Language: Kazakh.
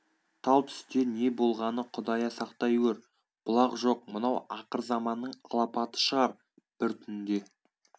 тал түсте не болғаны құдая сақтай гөр бұлақ жоқ мынау ақырзаманның алапаты шығар бір түнде